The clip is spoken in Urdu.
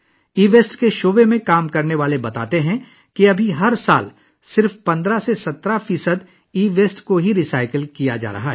ای ویسٹ کے شعبے میں کام کرنے والوں کا کہنا ہے کہ فی الحال ہر سال صرف 15 سے 17 فیصد ای ویسٹ کو ہی ری سائیکل کیا جا رہا ہے